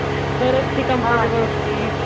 परत ती कॉम्पिटेबल होती